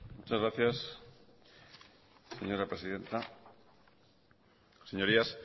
muchas gracias señora presidenta señorías